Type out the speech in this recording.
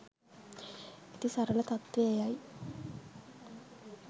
ඇති සත්‍ය තත්වය එයයි.